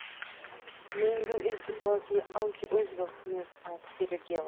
Gleymdu ekki hvað ég átti auðvelt með að fyrirgefa!